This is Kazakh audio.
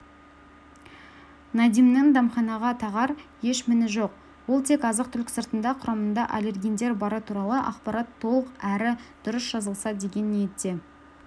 надимнің дәмханаға тағар еш міні жоқ ол тек азық-түлік сыртында құрамында аллергендер бары туралы ақпарат толық әрі дұрыс жазылса деген ниетте